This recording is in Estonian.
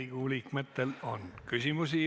Riigikogu liikmetel on küsimusi.